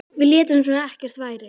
Við létum sem ekkert væri.